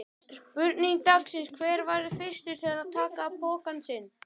Spurning dagsins: Hver verður fyrstur til að taka pokann sinn?